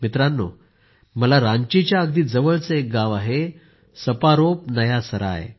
मित्रांनो मला रांचीच्या अगदी जवळचे एक गाव आहे सपारोम नया सराय